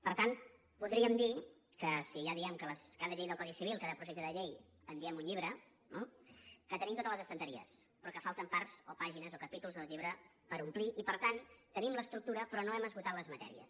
per tant podríem dir que si ja diem que de cada llei del codi civil cada projecte de llei en diem un llibre no tenim totes les estanteries però que falten parts o pàgines o capítols del llibre per omplir i per tant tenim l’estructura però no hem esgotat les matèries